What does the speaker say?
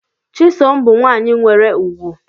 Chisom bu nwanyi nwere ugwu.